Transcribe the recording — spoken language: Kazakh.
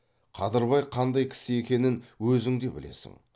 қадырбай қандай кісі екенін өзің де білесің